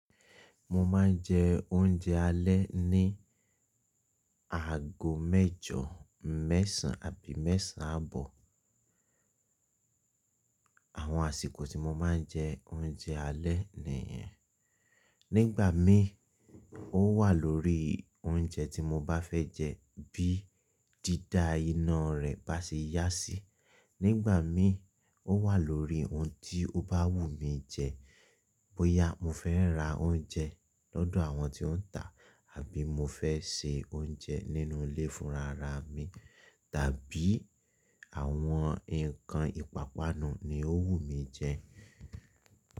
Mo ma n je ounjẹ alẹ́ ní aago mẹjọ, mẹ́sàn àbí mẹ́sàn àbọ̀. Àwọn àsìkò tí mo ma n jẹ oúnjẹ alẹ́ nìyẹn. Nígbà míi ó wà lórí oúnjẹ tí mo bá fẹ́ jẹ, bí dídá iná rẹ̀ bá ṣe yá sí. Nígbà míi ó wà lórí ohun tí ó bá wù mí jẹ. Bóyá mo fẹ́ ra oúnjẹ lọ́dọ̀ àwọn tí ó ń tà àbí mo fẹ́ se oúnjẹ nínú ilé fúnra ra mi tàbí àwọn ǹkan ìpápánu ni ó wù mí jẹ.